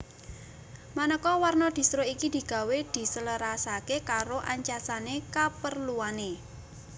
Manéka warna distro iki digawé diselarasaké karo ancasané kaperluané